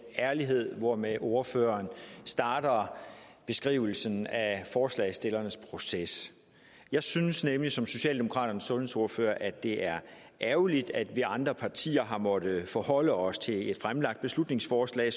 ærlighed hvormed ordføreren starter beskrivelsen af forslagsstillernes proces jeg synes nemlig som socialdemokraternes sundhedsordfører at det er ærgerligt at vi de andre partier har måttet forholde os til et fremsat beslutningsforslag